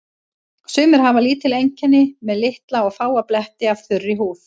Sumir hafa lítil einkenni með litla og fáa bletti af þurri húð.